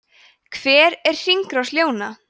hver er hringrás ljóna